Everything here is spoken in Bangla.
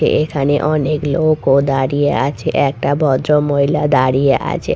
এখানে অনেক লোকও দাঁড়িয়ে আছে একটা ভদ্র মহিলা দাঁড়িয়ে আছে ।